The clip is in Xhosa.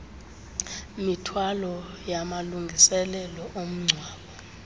mithwalo yamalungiselelo omngcwabo